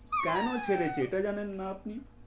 কেন ছেড়েছে এটা জানেন না আপনি?